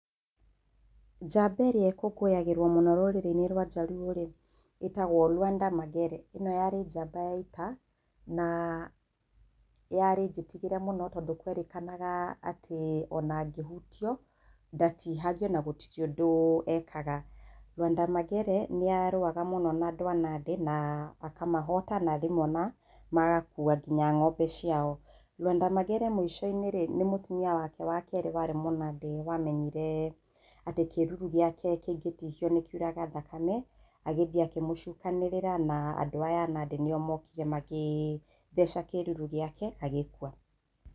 Njamba ĩrĩa ĩkũngũyagĩrwo mũno rũrĩrĩ-inĩ rwa jaruo rĩ, ĩtagwo Luada Magere, ĩ no yarĩ njamba ya ita na yarĩ njĩtigĩre mũno tondũ kwerĩkanaga atĩ o na angĩhutio ndatihagio na gũtirĩ ũndũ ekaga. Luada Magere nĩ arũaga mũno na andũ a Nandĩ na akamahota na rĩmwe magakua nginya ng'ombe ciao. Luada Magere mũico-inĩ nĩ mũtumia wake wakerĩ aarĩ mũnandĩ wamenyire atĩ kĩruru gĩake kĩngĩtihio nĩ kĩuraga thakame, agĩthiĩ akimũcukanĩrĩra na andũ aya a nandĩ nĩ o mokire magĩtheca kĩruru gĩake agĩkua.